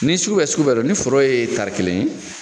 Ni sugu bɛ sugu bɛ dɔn ni foro ye taari kelen ye.